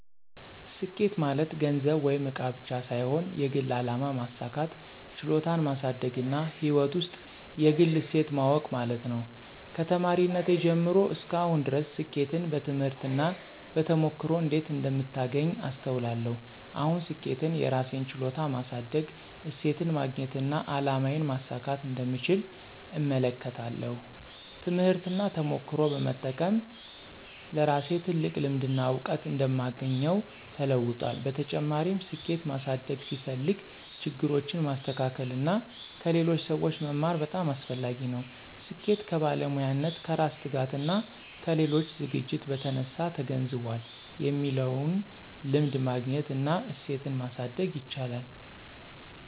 ስኬት ማለት ገንዘብ ወይም እቃ ብቻ ሳይሆን የግል አላማ ማሳካት፣ ችሎታን ማሳደግና ሕይወት ውስጥ የግል እሴት ማወቅ ማለት ነው። ከተማሪነቴ ጀምሮ እስከ አሁን ድረስ ስኬትን በትምህርት እና በተሞክሮ እንዴት እንደምታገኝ አስተውላለሁ። አሁን ስኬትን የራሴን ችሎታ ማሳደግ፣ እሴትን ማግኘትና አላማዬን ማሳካት እንደምቻል እመለከታለሁ። ትምህርትና ተሞክሮ በመጠቀም ለራሴ ትልቅ ልምድና እውቀት እንደማግኘው ተለውጧል። በተጨማሪም፣ ስኬት ማሳደግ ሲፈልግ ችግሮችን ማስተካከል እና ከሌሎች ሰዎች መማር በጣም አስፈላጊ ነው። ስኬት ከባለሙያነት፣ ከራስ ትጋትና ከሌሎች ዝግጅት በተነሳ ተገንዝቧል የሚለውን ልምድ ማግኘት እና እሴትን ማሳደግ ይቻላል።